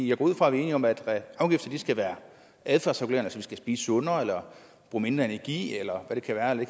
jeg går ud fra at vi er enige om at afgifter skal være adfærdsregulerende så vi skal spise sundere eller bruge mindre energi eller det kan være af